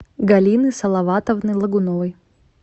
галины салаватовны логуновой